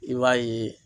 I b'a ye